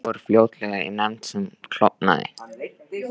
Málið fór fljótlega í nefnd sem klofnaði.